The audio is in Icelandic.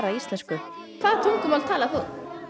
íslensku hvaða tungumál talar þú